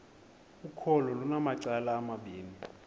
ukholo lunamacala amabini